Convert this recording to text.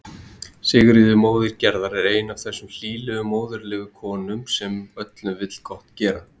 Sigríður móðir Gerðar er ein af þessum hlýlegu móðurlegu konum sem öllum vill gott gera.